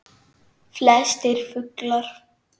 Flestir fuglar